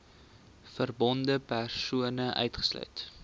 verbonde persone uitgesluit